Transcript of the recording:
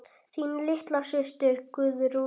Þín litla systir Guðrún.